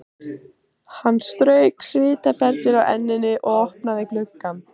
Hann strauk svitaperlur af enninu og opnaði gluggann.